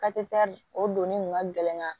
o donni kun ka gɛlɛn